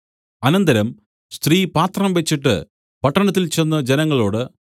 അനന്തരം സ്ത്രീ പാത്രം വെച്ചിട്ട് പട്ടണത്തിൽ ചെന്ന് ജനങ്ങളോട്